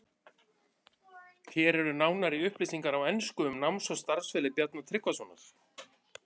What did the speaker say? Hér eru nánari upplýsingar á ensku um náms- og starfsferil Bjarna Tryggvasonar.